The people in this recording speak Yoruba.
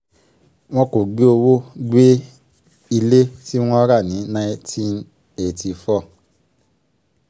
bákan náà kò ṣàlàyé bí iléeṣẹ́ ṣe ń ṣe sí